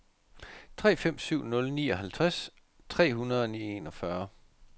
tre fem syv nul nioghalvtreds tre hundrede og enogfyrre